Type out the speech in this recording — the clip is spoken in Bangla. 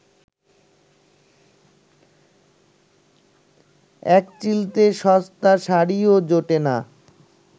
একচিলতে সস্তা শাড়িও জোটে না